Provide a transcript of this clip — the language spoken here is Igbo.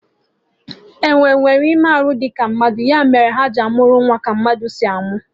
Enwee nwelụ ime arụ dị ka mmadụ, ya mere ha ji amụ nwa ka mmadụ si amụ